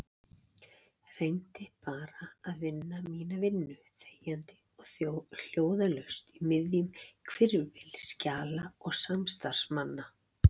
Reyndi bara að vinna mína vinnu þegjandi og hljóðalaust í miðjum hvirfilbyl skjala og samstarfsmanna.